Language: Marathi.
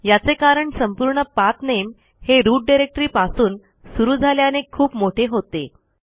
याचे कारण संपूर्ण पाठ नामे हे रूट डायरेक्टरी पासून सुरू झाल्याने खूप मोठे होते